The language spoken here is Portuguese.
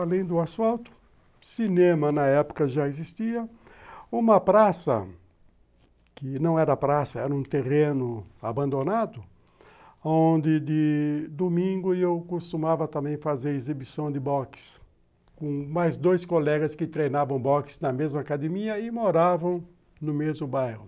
Além do asfalto, cinema na época já existia, uma praça, que não era praça, era um terreno abandonado, onde de domingo eu costumava também fazer exibição de boxe, com mais dois colegas que treinavam boxe na mesma academia e moravam no mesmo bairro.